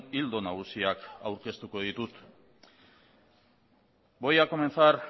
ildo nagusiak aurkeztuko ditut voy a comenzar